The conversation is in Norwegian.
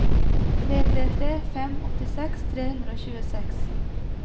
tre tre tre fem åttiseks tre hundre og tjueseks